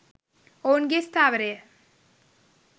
ඔවුන්ගේ ස්ථාවරය